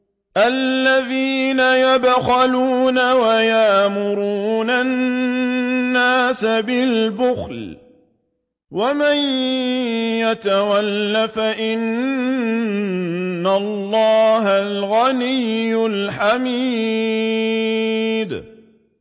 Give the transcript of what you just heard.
الَّذِينَ يَبْخَلُونَ وَيَأْمُرُونَ النَّاسَ بِالْبُخْلِ ۗ وَمَن يَتَوَلَّ فَإِنَّ اللَّهَ هُوَ الْغَنِيُّ الْحَمِيدُ